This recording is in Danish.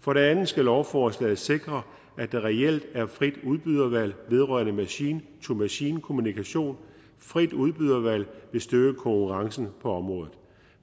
for det andet skal lovforslaget sikre at der reelt er frit udbydervalg vedrørende machine to machine kommunikation frit udbydervalg vil styrke konkurrencen på området